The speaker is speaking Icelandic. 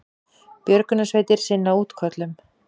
Björgunarsveitir sinna útköllum